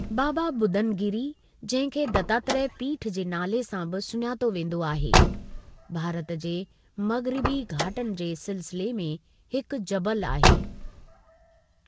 बाबा बुदन गिरि जंहिं खे दत्तात्रेय पीठ जे नाले सां बि सुञातो वेंदो आहे, भारत जे मग़रिबी घाटनि जे सिलसिले में हिकु जबलु आहे।